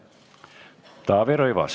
Taavi Rõivas.